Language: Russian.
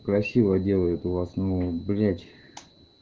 красиво делают у вас ну блять